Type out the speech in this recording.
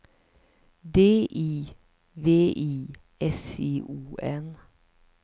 D I V I S I O N